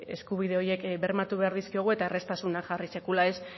eskubide horiek bermatu behar dizkiogu eta erraztasunak jarri sekula ez